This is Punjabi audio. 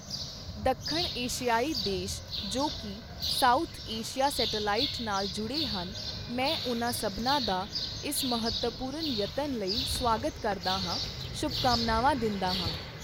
ਦੱਖਣ ਏਸ਼ੀਆਈ ਦੇਸ਼ ਜੋ ਕਿ, ਸਾਊਥ ਏਸ਼ਿਯਾ ਸੈਟੇਲਾਇਟ ਨਾਲ ਜੁੜੇ ਹਨ, ਮੈਂ ਉਨਾਂ ਸਭਨਾਂ ਦਾ ਇਸ ਮਹੱਤਵਪੂਰਨ ਯਤਨ ਲਈ ਸਵਾਗਤ ਕਰਦਾ ਹਾਂ, ਸ਼ੁਭਕਾਮਨਾਵਾਂ ਦਿੰਦਾ ਹਾਂ।